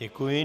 Děkuji.